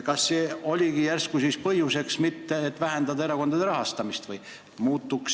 Kas see oligi põhjus mitte vähendada erakondade rahastamist?